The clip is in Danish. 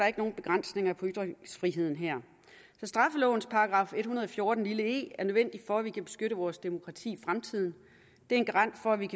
ikke nogen begrænsninger på ytringsfriheden her så straffelovens § en hundrede og fjorten e er nødvendig for at vi kan beskytte vores demokrati i fremtiden det er en garant for at vi